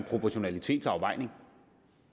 en proportionalitetsafvejning